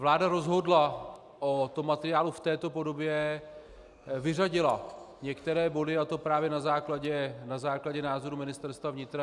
Vláda rozhodla o tom materiálu v této podobě, vyřadila některé body, a to právě na základě názorů Ministerstva vnitra.